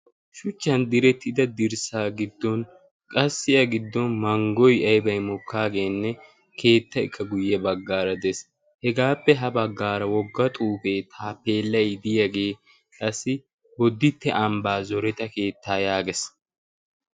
shuchchan direttida dirssaa giddon qassiya giddon manggoy aybay mokkaageenne keetta ekka guyye baggaara de'es hegaappe ha baggaara wogga xuufee taapeellay diyaagee qassi bodditte ambbaa zoreta keettaa yaagees